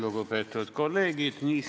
Lugupeetud kolleegid!